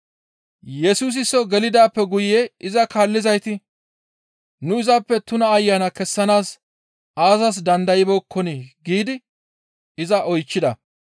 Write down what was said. Yesusi soo gelidaappe guye iza kaallizayti, «Nu izappe tuna ayana kessanaas aazas dandaybeekkonii?» giidi iza oychchida.